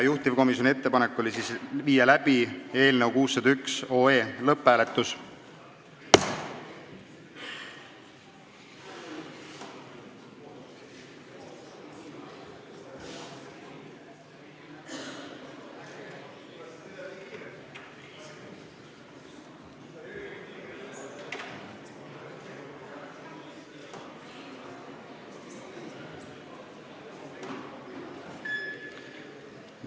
Juhtivkomisjoni ettepanek oli panna eelnõu 601 lõpphääletusele.